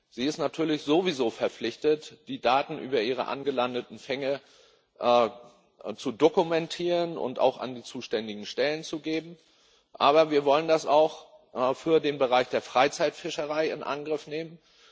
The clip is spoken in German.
Sie ist natürlich sowieso verpflichtet, die Daten über ihre angelandeten Fänge zu dokumentieren und auch an die zuständigen Stellen zu geben. Aber wir wollen das auch für den Bereich der Freizeitfischerei in Angriff nehmen.